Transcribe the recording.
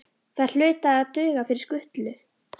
Þær hlutu að duga fyrir skutlu.